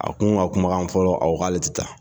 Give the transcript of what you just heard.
A kun ka kumakan fɔlɔ a ko k'ale tɛ taa